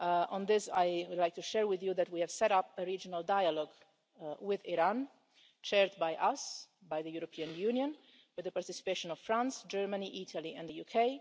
On this, I would like to share with you that we have set up a regional dialogue with Iran, chaired by us, by the European Union, with the participation of France, Germany, Italy and the